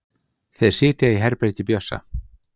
Þeir sitja í herbergi Bjössa.